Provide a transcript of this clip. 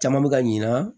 Caman bɛ ka ɲina